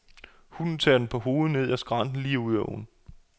Hunden tager den på hovedet ned ad skrænten lige ud i åen.